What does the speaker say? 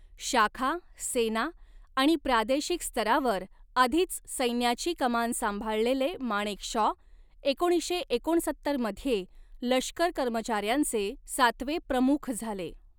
शाखा, सेना आणि प्रादेशिक स्तरावर आधीच सैन्याची कमान सांभाळलेले माणेकशॉ, एकोणीसशे एकोणसत्तर मध्ये लष्कर कर्मचाऱ्यांचे सातवे प्रमुख झाले.